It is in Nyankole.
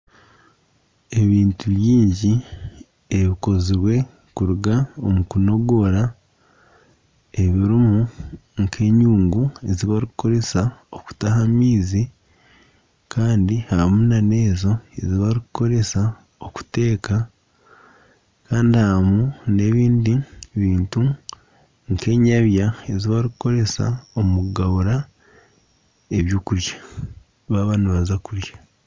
Ebintu bingi ebikozirwe kuruga omukunogoora ebirimu nkenyungu ezibarikukoresa okutaha amaizi ,harimu nana ezo ezibarikukoresa okuteeka Kandi harimu n'ebindi bintu nkenyabya ezibarikukoresa omukugabura ebyokurya baba nibaza kurya.